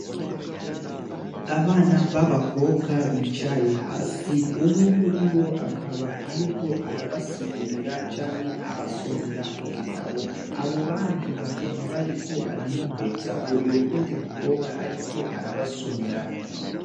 Abana b'abakobwa bicaye hasi umwe muri bo akaba, ariko arabasigurira canke abasomera mu gitabo abo bandi bakaba bariko baramwumviriza uyo wundi mukobwa, ariko arabasomera.